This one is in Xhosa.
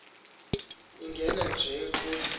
lingena nje kusi